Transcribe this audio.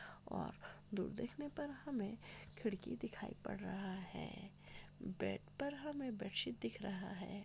ओर दूर देखने पर हमे खिड़की दिखाई पड़ रहा है बेड पर हमे बेडशीट दिख रहा है।